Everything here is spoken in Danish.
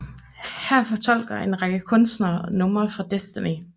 Her fortolker en række kunstnere numrene fra Destiny